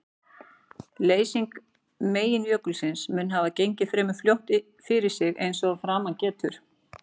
Leysing meginjökulsins mun hafa gengið fremur fljótt fyrir sig eins og að framan getur.